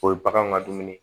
O ye baganw ka dumuni